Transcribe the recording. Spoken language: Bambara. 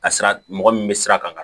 Ka sira mɔgɔ min bɛ sira kan